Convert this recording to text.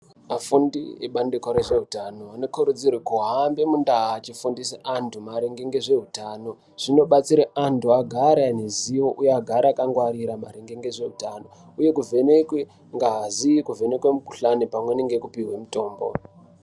Afundi ebandiko rezvehutano anokurudzirwe kuhamba mundaa achifundise antu maringe ngezveutano. Zvinobatsire antu agare aine ziwo, uye agare akangwarira maringe ngezveutano, uye kuvhenekwe ngazi kuvhenekwe mikuhlani pamweni ngekupuhwe mutombo.